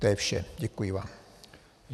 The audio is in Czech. To je vše, děkuji vám.